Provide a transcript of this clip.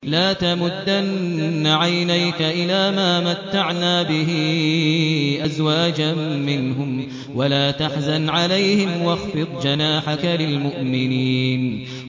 لَا تَمُدَّنَّ عَيْنَيْكَ إِلَىٰ مَا مَتَّعْنَا بِهِ أَزْوَاجًا مِّنْهُمْ وَلَا تَحْزَنْ عَلَيْهِمْ وَاخْفِضْ جَنَاحَكَ لِلْمُؤْمِنِينَ